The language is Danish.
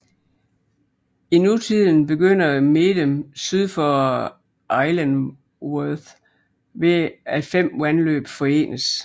I nutiden begynder Medem syd for Ihlienworth ved at fem vandløb forenes